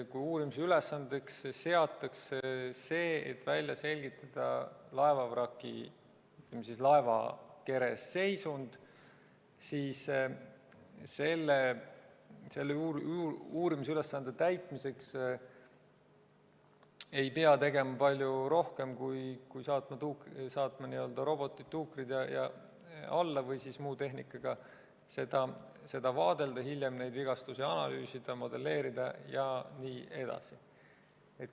Kui uurimise ülesandeks seatakse see, et välja selgitada laevavraki või laevakere seisund, siis selle ülesande täitmiseks ei pea tegema palju rohkem, kui saata robot või tuuker alla või siis muu tehnikaga seda vaadelda ja hiljem neid vigastusi analüüsida, modelleerida jne.